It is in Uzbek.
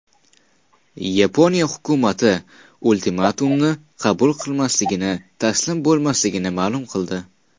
Yaponiya hukumati ultimatumni qabul qilmasligini, taslim bo‘lmasligini ma’lum qildi.